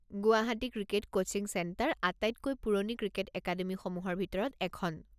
Guwahati cricket coaching centre আটাইতকৈ পুৰণি cricket একাডেমিসমূহৰ ভিতৰত এখন।